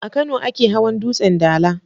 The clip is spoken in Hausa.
A Kano ake hawan dutsen dala.